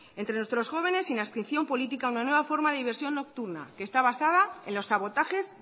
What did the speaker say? entre nuestros jóvenes sin adscripción política una nueva forma de diversión nocturna que está basada en los sabotajes